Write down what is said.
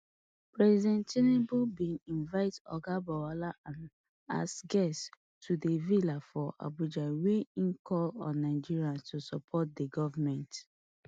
president tinubu bin invite oga bawala am as guest to di villa for abuja wia im call on nigerians to support di goment